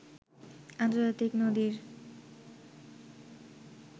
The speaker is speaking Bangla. আর্ন্তজাতিক নদীর